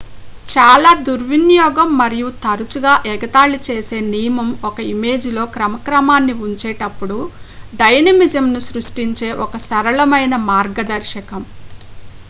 చాలా దుర్వినియోగం మరియు తరచుగా-ఎగతాళి చేసే నియమం ఒక ఇమేజ్ లో క్రమక్రమాన్ని ఉంచేటప్పుడు డైనమిజం ను సృష్టించే ఒక సరళమైన మార్గదర్శకం